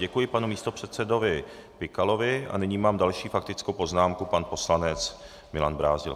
Děkuji panu místopředsedovi Pikalovi a nyní mám další faktickou poznámku, pan poslanec Milan Brázdil.